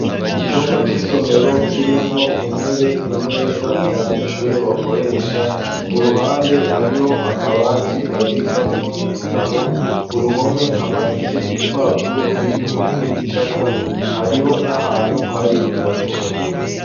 Icumba c'isomero, kirimwo intebe, imeza, abanyeshuri bakoresha; ku ruhande, hariho akabati, babikamwo ibitabo; ku ruhome, hamanitse ibipapuro, biriko n'ibicapo; hariho n'ahantu, hari imboneshakure.